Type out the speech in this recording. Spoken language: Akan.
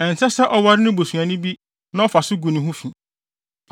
Ɛnsɛ sɛ ɔware ne busuani bi na ɔfa so gu ne ho fi.